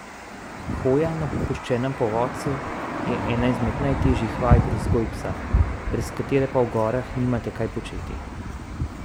Hoja na popuščenem povodcu je ena izmed najtežjih vaj pri vzgoji psa, brez katere pa v gorah nimate kaj početi.